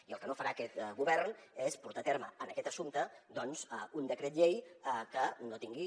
i el que no farà aquest govern és portar a terme en aquest assumpte doncs un decret llei que no tingui